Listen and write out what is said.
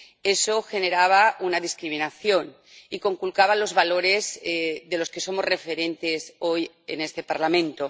Eso generaba una discriminación y conculcaba los valores de los que somos referentes hoy en este Parlamento.